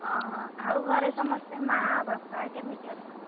ଓହୋ ଆଉ ଘରେ ସମସ୍ତେ ମା ବାପା କେମିତି ଅଛନ୍ତି?